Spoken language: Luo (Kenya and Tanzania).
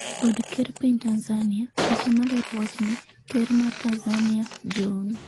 Od ker piny Tanzania, picha malero wachni, ker ma Tanzania John